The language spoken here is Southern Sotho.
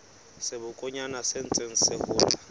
sebokonyana se ntseng se hola